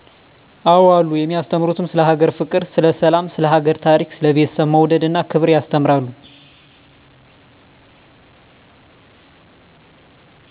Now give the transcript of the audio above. አዎ አሉ የማያስተምሩትም ስለ ሀገር ፍቅር ስለ ሰላም ስለ ሀገር ታሪክ ስለ ቤተሰብ መውደድ እና ክብር ያስተምራሉ